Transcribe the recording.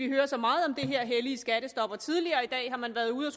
hører så meget om det her hellige skattestop og tidligere i dag har man været ude i